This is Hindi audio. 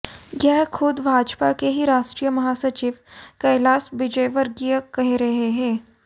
यह ख़ुद भाजपा के ही राष्ट्रीय महासचिव कैलाश विजयवर्गीय कह रहे है